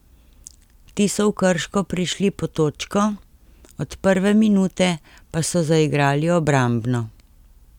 Ti so v Krško prišli po točko, od prve minute pa so zaigrali obrambno.